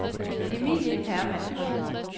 Emilie Hermann